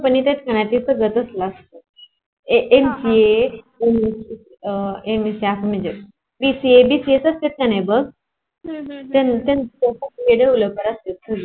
हा